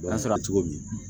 O y'a sɔrɔ cogo min